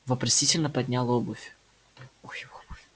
вопросительно поднял обувь